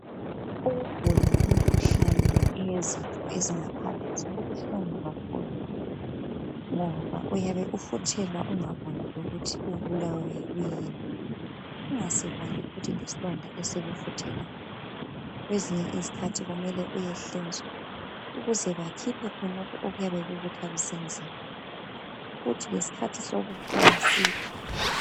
Ukugula imikhuhlane eyezitho ezingaphakathi kubuhlungu kakhulu ngoba uyabe ufuthelwa ungaboni lokuthi ubulawa yikuyini. Ungasiboni futhi lesilonda esikufuthelayo. Kwezinye isikhathi kumele uyehlinzwa ukuze bakhiphe khonokho okuyabe kukuthwalise nzima. Kuthi ngesikhathi sokuphola side.